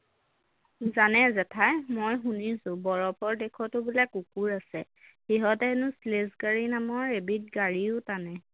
জানে জেঠাই মই শুনিছো বৰফৰ দেশতো বোলে কুকুৰ আছে সিহঁতে হেনো sledge গাড়ী নামৰ এবিধ গাড়ীও টানে